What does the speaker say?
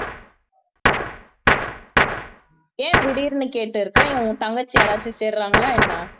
ஏன் திடீர்னு கேட்டிருக்க உன் தங்கச்சி யாராச்சும் சேர்றாங்களா என்ன